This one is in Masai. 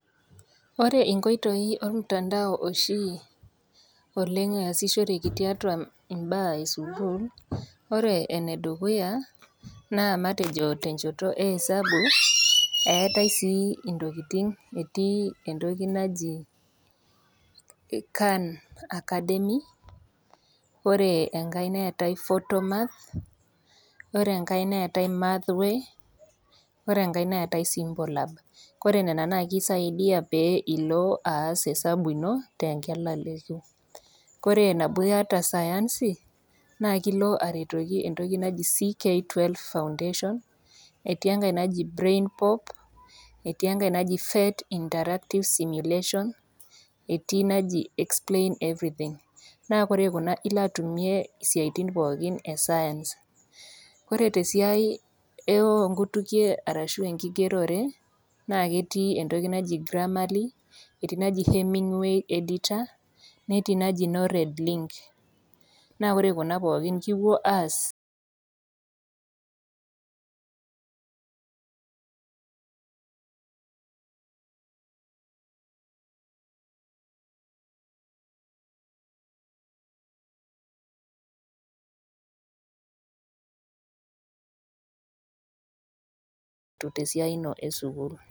Ore inkoitoi ormtandao oshi oleng eyasishoreki tiatua imbaa esukuul ore enedukuya naa matejo tenchoto e esabu eetae sii intokitin etii entoki naji [can academy ore enkae neetae photo math ore enkae neetae math way ore enkae neetae simple app ore nana naa kisaidia pee ilo aas esabu ino tenkilaleki kore nabo iyata sayansi naa kilo aretoki entoki naji CK 12 foundation etii enkae naji brain pop etii enkae naji fet interactive simulation etii naji explain everything naa kore kuna ilo atumie isiaitin pookin e science ore tesiai eonkutukie arashu enkigerore naa ketii entoki naji grammaly etii naji heminway editor netii naji nored link naa ore kuna pookin naa kipuo aastesiai ino esukuul.